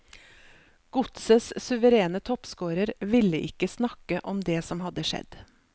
Godsets suverene toppscorer ville ikke snakke om det som hadde skjedd.